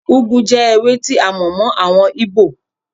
Úgú jẹ́ ewé tí a mọ̀ mọ́ àwọn Íbò.